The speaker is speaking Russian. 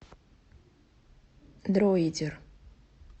дроидер